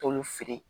Tɔn min feere